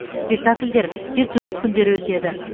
спектакльдер тек жұмыс күндері өтеді